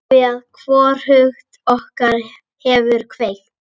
Afþvíað hvorugt okkar hefur kveikt.